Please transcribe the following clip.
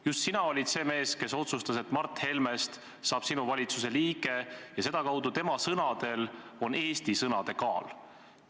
Just sina olid see mees, kes otsustas, et Mart Helmest saab sinu valitsuse liige, ja sedakaudu on tema sõnadel Eesti sõnade kaal.